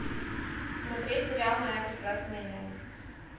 смотреть сериал моя прекрасная няня